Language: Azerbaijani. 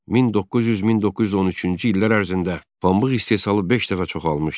1900-1913-cü illər ərzində pambıq istehsalı beş dəfə çoxalmışdı.